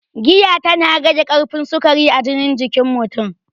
Giya ta na rage karfin sukari a jinin jikin mutun